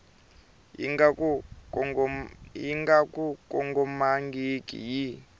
yi nga ku kongomangiki yi